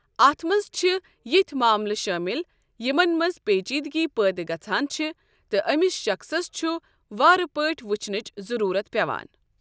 اَتھ منٛز چھِ ہتھۍ معاملہٕ شٲمِل یِمن منٛز پیچیدگی پٲدٕ گژھان چھ تہٕ أمِس شخصس چھ وارٕ پٲٹھۍ وٕچھنٕچ ضروٗرت پٮ۪وان۔